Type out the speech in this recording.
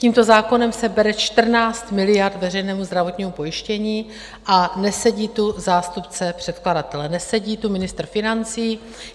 Tímto zákonem se bere 14 miliard veřejnému zdravotnímu pojištění a nesedí tu zástupce předkladatele, nesedí tu ministr financí.